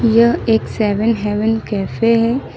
यह एक Seven Heaven cafe है।